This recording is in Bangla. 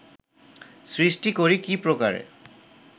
সৃষ্টি করি কী প্রকারে